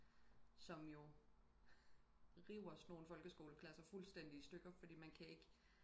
Som jo river sådan nogle folkeskole klasser fuldstændig i stykker fordi man kan ikke